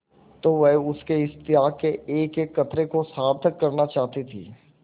तो वह उसके इस त्याग के एकएक कतरे को सार्थक करना चाहती थी